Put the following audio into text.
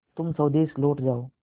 तुम स्वदेश लौट जाओ